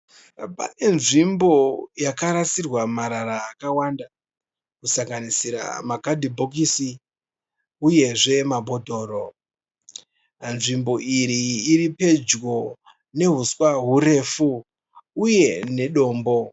Pane nzvimbo yakarasirwa marara akawanda kusanganisira makadhibhokisi uyezve mabhodhoro. Nzvimbo iyi iri padyo nehuswa hurefu uye nedombo.